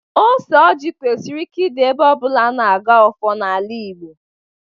Ose ọjị kwesịrị ịdị ebe ọbụla ana agọ ọfọ na-ala Igbo.